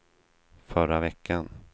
förra veckan